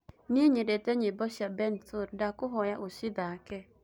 nie nyendete nyĩmbo cĩa bensoul ndakũhoya ucithake